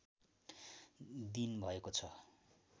दिन भएको छ